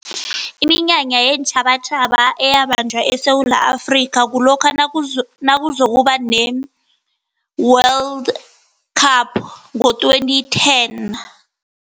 Iminyanya yeentjhabatjhaba eyabanjwa eSewula Afrika kulokha nakuzokuba ne-World Cup ngo-twenty ten.